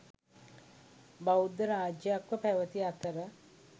බෞද්ධ රාජ්‍යයක්ව පැවැති අතර